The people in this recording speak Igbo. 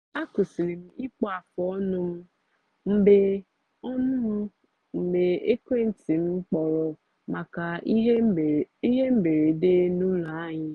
akwụsịlị m ịkpụ afụ ọnụ m mgbe ọnụ m mgbe ekwenti m kpọrọ maka ihe mberede n’ụlọ anyị